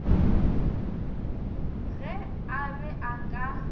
ge a be a ka